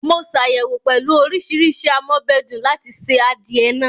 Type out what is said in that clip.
Mo ṣàyẹ̀wò pẹ̀lú oríṣiríṣi am'ọ́bẹ̀dùn láti se adìẹ náà